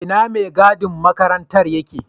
Ina maigadin makarantar yake?